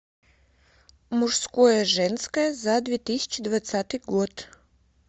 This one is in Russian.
мужское женское за две тысячи двадцатый год